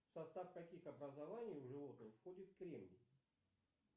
в состав каких образований у животных входит кремний